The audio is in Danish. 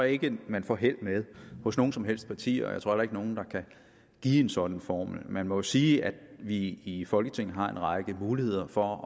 ikke man får held med hos noget som helst parti og jeg tror ikke nogen der kan give en sådan formel man må sige at vi i folketinget har en række muligheder for